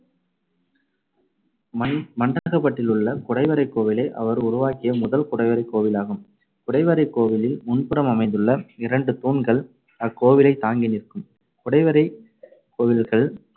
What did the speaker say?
மண்~ மண்டகப்பட்டிலுள்ள குடைவரைக் கோவிலே அவர் உருவாக்கிய முதல் குடைவரைக் கோவிலாகும். குடைவரைக் கோவிலில் முன்புறம் அமைந்துள்ள இரண்டு தூண்கள் அக்கோவிலைத் தாங்கி நிற்கும். குடைவரைக் கோவில்கள்